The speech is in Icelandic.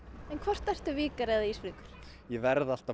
en hvort ertu Víkari eða Ísfirðingur ég verð alltaf